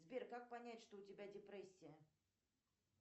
сбер как понять что у тебя депрессия